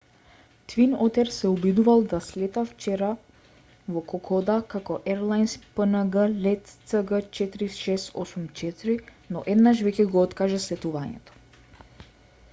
твин отер се обидувал да слета вчера во кокода како ерлајнс пнг лет цг4684 но еднаш веќе го откажа слетувањето